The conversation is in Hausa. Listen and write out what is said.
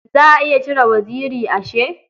Za a iya cire waziri ashe?